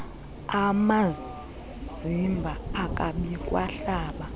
amazimba ababikwa hlaba